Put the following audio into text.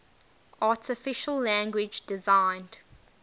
artificial language designed